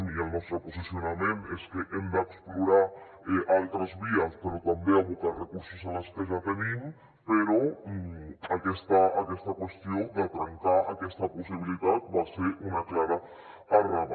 i el nostre posicionament és que hem d’explorar altres vies però també abocar recursos a les que ja tenim però aquesta qüestió de trencar aquesta possibilitat va ser una clara errada